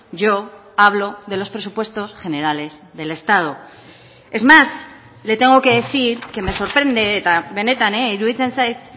yo hablo de los presupuestos generales del estado es más le tengo que decir que me sorprende eta benetan iruditzen zait